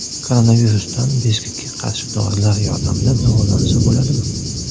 Koronavirusdan bezgakka qarshi dorilar yordamida davolansa bo‘ladimi?.